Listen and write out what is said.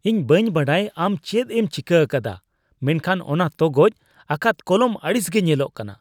ᱤᱧ ᱵᱟᱹᱧ ᱵᱟᱰᱟᱭ ᱟᱢ ᱪᱮᱫ ᱮᱢ ᱪᱤᱠᱟᱹ ᱟᱠᱟᱫᱟ ᱢᱮᱱᱠᱷᱟᱱ ᱚᱱᱟ ᱛᱚᱜᱚᱡ ᱟᱠᱟᱫ ᱠᱚᱞᱚᱢ ᱟᱹᱲᱤᱥ ᱜᱮ ᱧᱮᱞᱚᱜ ᱠᱟᱱᱟ ᱾